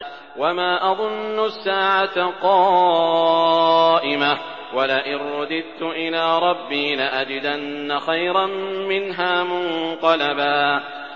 وَمَا أَظُنُّ السَّاعَةَ قَائِمَةً وَلَئِن رُّدِدتُّ إِلَىٰ رَبِّي لَأَجِدَنَّ خَيْرًا مِّنْهَا مُنقَلَبًا